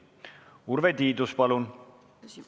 Urve Tiidus, palun!